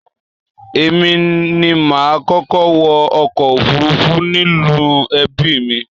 Èmi ni mà á kọ́kọ́ wọ ọkọ̀ òfurufú nínú ẹbí mi.